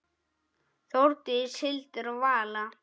Þórdís, Hildur og Vala.